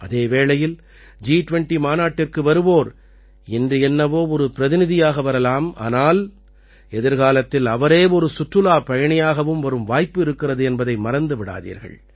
அதே வேளையில் ஜி20 மாநாட்டிற்கு வருவோர் இன்று என்னவோ ஒரு பிரதிநிதியாக வரலாம் ஆனால் எதிர்காலத்தில் அவரே ஒரு சுற்றுலாப் பயணியாகவும் வரும் வாய்ப்பு இருக்கிறது என்பதை மறந்து விடாதீர்கள்